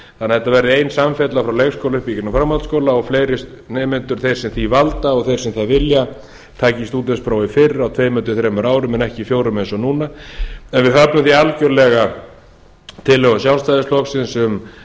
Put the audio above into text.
þannig að þetta verði ein samfella frá leikskóla upp í gegnum framhaldsskóla og fleiri nemendur sem því valda og þeir sem það vilja taki stúdentsprófið fyrr að tveimur til þremur árum en ekki fjórum eins og núna en við höfnum því algerlega tillögum sjálfstæðisflokksins